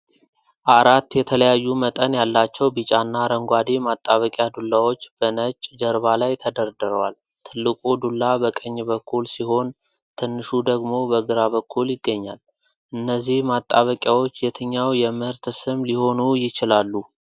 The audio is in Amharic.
አራት የተለያዩ መጠን ያላቸው ቢጫና አረንጓዴ ማጣበቂያ ዱላዎች በነጭ ጀርባ ላይ ተደርድረዋል። ትልቁ ዱላ በቀኝ በኩል ሲሆን ትንሹ ደግሞ በግራ በኩል ይገኛል። እነዚህ ማጣበቂያዎች የትኛው የምርት ስም ሊሆኑ ይችላሉ?